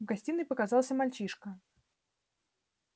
в гостиной показался мальчишка